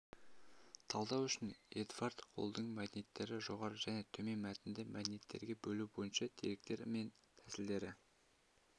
талдау үшін эдвард холлдың мәдениеттерді жоғары және төмен мәтінді мәдениеттерге бөлу бойынша деректер мен тәсілдері